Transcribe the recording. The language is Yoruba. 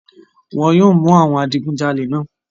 Wọn yóò mú àwọn àwọn adigunjalè náà.